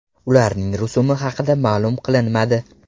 Ularning rusumi haqida ma’lum qilinmadi.